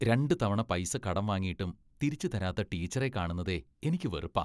രണ്ടു തവണ പൈസ കടം വാങ്ങിയിട്ടും തിരിച്ച് തരാത്ത ടീച്ചറെ കാണുന്നതേ എനിക്ക് വെറുപ്പാ.